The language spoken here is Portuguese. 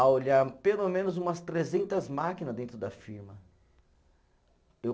a olhar pelo menos umas trezentas máquina dentro da firma, eu